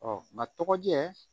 nka tɔgɔjɛ